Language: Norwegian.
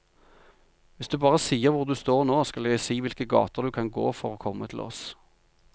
Hvis du bare sier hvor du står nå, skal jeg si hvilke gater du kan gå for å komme til oss.